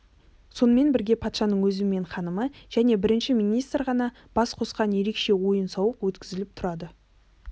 сонымен бірге патшаның өзі мен ханымы және бірінші министр ғана бас қосқан ерекше ойын-сауық өткізіліп тұрады